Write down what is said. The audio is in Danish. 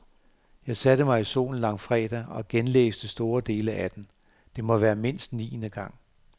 Jeg satte mig i solen langfredag og genlæste store dele af den, det må være mindst niende gang.